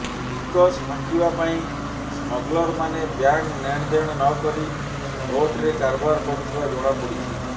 ଟିକସ ଫାଙ୍କିବା ପାଇଁ ସ୍ମଗଲରମାନେ ବ୍ୟାଙ୍କ୍ ନେଣଦେଣ ନକରି ନୋଟରେ କାରବାର କରୁଥିବା ଜଣାପଡ଼ିଛି